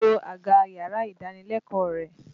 To àga yàrá-ìdánilẹ́kọ̀ọ́ rẹ!